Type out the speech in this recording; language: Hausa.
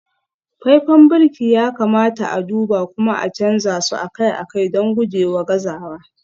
faifan birki ya kamata a duba kuma a canza su akai-akai don gujewa gazawa